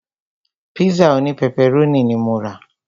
Pízà òní pẹpẹrónì ní mo rà.